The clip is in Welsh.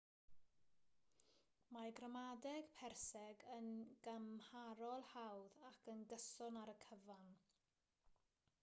mae gramadeg perseg yn gymharol hawdd ac yn gyson ar y cyfan